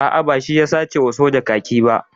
A'a, ba shi ya sace wa soja kaki ba.